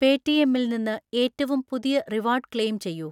പേടിഎമ്മിൽ നിന്ന് ഏറ്റവും പുതിയ റിവാർഡ് ക്ലെയിം ചെയ്യു